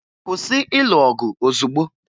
Kwụsị ịlụ ọgụ ozugbo!